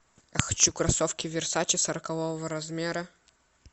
хочу кроссовки версаче сорокового размера